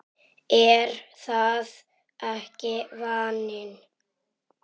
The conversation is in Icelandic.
Er það ekki vaninn?